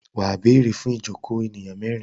Wà á béèrè fún ìjokòó ènìyàn mẹ́rin.